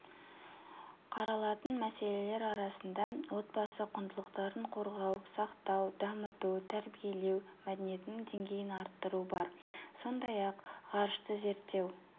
қаралатын мәселелер арасында отбасы құндылықтарын қорғау сақтау дамыту тәрбиелеу мәдениетінің деңгейін арттыру бар сондай-ақғ ғарышты зерттеу